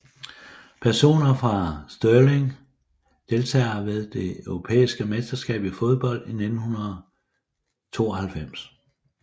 Personer fra Stirling Deltagere ved det europæiske mesterskab i fodbold 1992